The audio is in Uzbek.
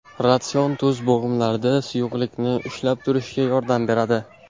Ratsion Tuz bo‘g‘imlarda suyuqlikni ushlab turishga yordam beradi.